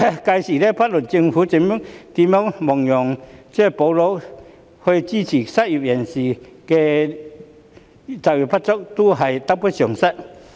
屆時，不論政府如何亡羊補牢以支援失業及就業不足人士，仍會得不償失。